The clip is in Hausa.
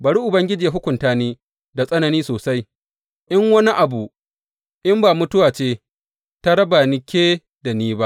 Bari Ubangiji ya hukunta ni da tsanani sosai, in wani abu in ba mutuwa ce ta raba ke da ni ba.